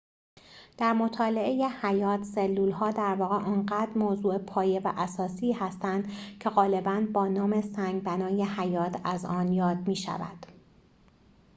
در مطالعه حیات سلول‌ها در واقع آنقدر موضوع پایه و اساسی هستند که غالباً با نام سنگ بنای حیات از آن یاد می‌شود